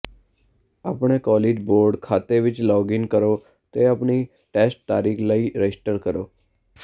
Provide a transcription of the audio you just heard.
ਆਪਣੇ college board ਖਾਤੇ ਵਿੱਚ ਲੌਗ ਇਨ ਕਰੋ ਅਤੇ ਆਪਣੀ ਟੈਸਟ ਤਾਰੀਖ ਲਈ ਰਜਿਸਟਰ ਕਰੋ